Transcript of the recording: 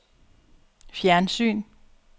fjernsyn